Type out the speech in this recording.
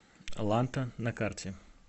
ланта на карте